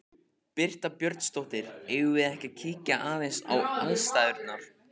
Birta Björnsdóttir: Eigum við að kíkja aðeins á aðstæður?